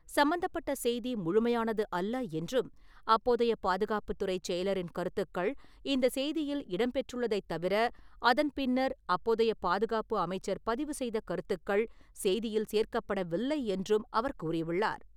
சம்பந்தப்பட்ட செய்தி முழுமையானது அல்ல என்றும், அப்போதைய பாதுகாப்புத் துறைச் செயலரின் கருத்துக்கள் இந்த செய்தியில் இடம்பெற்றுள்ளதைத் தவிர, அதன் பின்னர் அப்போதைய பாதுகாப்பு அமைச்சர் பதிவுசெய்த கருத்துக்கள் செய்தியில் சேர்க்கப் படவில்லை என்றும் அவர் கூறியுள்ளார்.